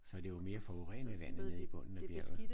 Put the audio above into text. Så det er jo mere forurenet vandet i bunden af bjerget